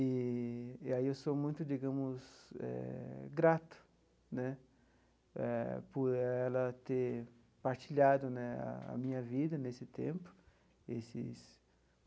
Eee e aí eu sou muito, digamos eh, grato né eh por ela ter partilhado né a minha vida nesse tempo esses.